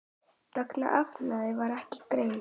Magn efnanna var ekki greint.